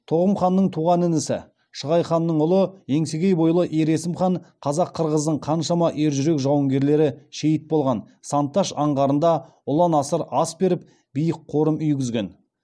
тоғым ханның туған інісі шығай ханның ұлы еңсегей бойлы ер есім хан қазақ қырғыздың қаншама ержүрек жауынгерлері шейіт болған сан таш аңғарында ұлан асыр ас беріп биік қорым үйгізген